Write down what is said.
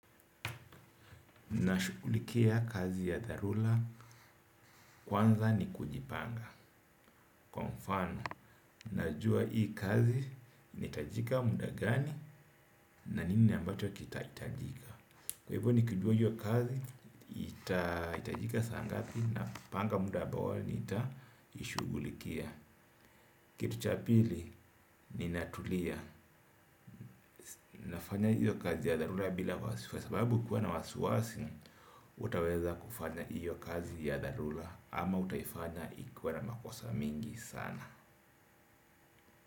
Na shugulikia kazi ya tharula kwanza ni kujipanga. Kwa mfano, najua hii kazi inaitajika muda gani na nini ambacho kitaitajika. Kwa hivyo nikujua hiyo kazi, itajika sa ngapi napanga muda abo awali niita ishugulikia. Kitu cha pili ni natulia, nafanya hiyo kazi ya dharura bila wasiwasi sababu kuwa na wasiwasi hutaweza kufanya hiyo kazi ya dharura ama utaifanya ikuwa na makosa mingi sana.